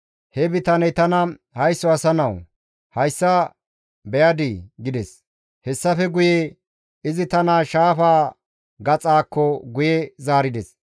He bitaney tana, «Haysso asa nawu, hayssa beyadii?» gides. Hessafe guye izi tana shaafa gaxaakko guye zaarides.